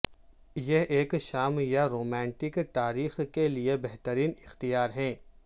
یہ ایک شام یا رومانٹک تاریخ کے لئے بہترین اختیار ہے